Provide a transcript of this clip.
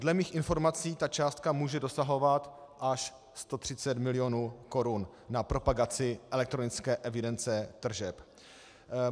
Dle mých informací ta částka může dosahovat až 130 mil. korun na propagaci elektronické evidence tržeb.